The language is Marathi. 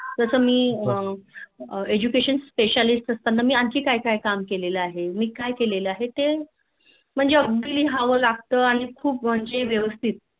जस मी Education specialist असताना मी आणखी काय काय काम केले आहे. मी काय केलेले आहे ते म्हणजे अगदी लिहावं लागता आणि खुप म्हणजे व्यवस्थित